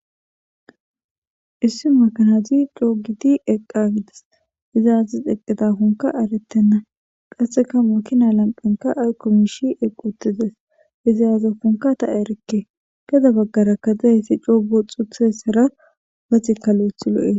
Issi makanazi coogiti eqqa gides izaazis eqqitafonka aretenna qasseka mukina lanqanka aykkomishi equtides izaazofunka ta erekke geda baggara kadezayssi coogo xuuthessara baxi kalo'ethi lo'es.